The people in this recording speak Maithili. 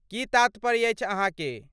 की तात्पर्य अछि अहाँके?